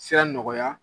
Sira nɔgɔya